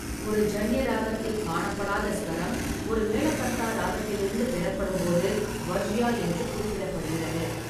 ஒரு ஜான்யா ராகத்தில் காணப்படாத சுவரம், ஒரு மெலாகர்த்தா ராகத்திலிருந்து பெறப்படும்போது, வர்ஜியா என்று குறிப்பிடப்படுகிறது.